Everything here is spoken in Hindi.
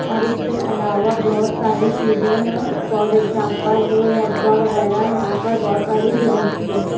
और उसके अलावा बहुत सारी चीजें हैं फॉर एग्जांपल रूह अफ़ज़ा वगैरा यहां पर बहुत सारी ड्रिंक भी है।